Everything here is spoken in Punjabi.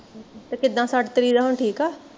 ਤੇ ਕਿੱਦਾਂ ਸੱਟ ਤੇਰੀ ਦਾ ਹੁਣ ਠੀਕ ਆ